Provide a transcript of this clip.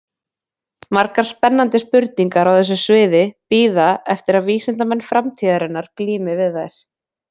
Margar spennandi spurningar á þessu sviði bíða eftir að vísindamenn framtíðarinnar glími við þær.